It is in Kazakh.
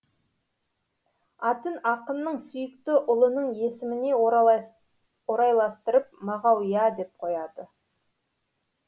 атын ақынның сүйікті ұлының есіміне орайластырып мағауия деп қояды